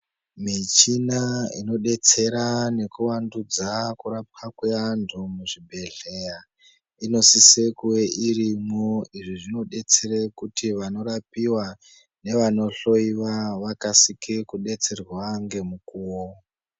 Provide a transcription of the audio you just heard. Michina inodetsera nekuvandudza kurapwa kwevantu muzvibhedhleya, inosise kuve irimo izvi zvinodetsere kuti vanorapiwa nevanohloyiwa vakasike kudetserwa ngemukuwo.